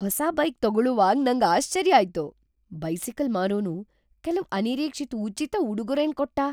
ಹೊಸ ಬೈಕ್ ತಗೊಳುವಾಗ್ ನಂಗ್ ಆಶ್ಚರ್ಯ ಆಯ್ತು. ಬೈಸಿಕಲ್ ಮಾರೋನು ಕೆಲವ್ ಅನಿರೀಕ್ಷಿತ್ ಉಚಿತ ಉಡುಗೊರೆನ್ ಕೊಟ್ಟ,